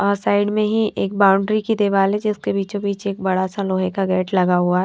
और साइड में ही एक बाउंड्री की दीवार है जिसके बीचों बीच क बड़ा सा लोहे का गेट लगा हुआ हैं।